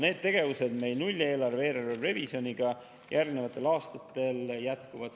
Need tegevused nulleelarve ja eelarverevisjoniga järgnevatel aastatel jätkuvad.